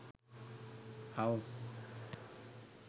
house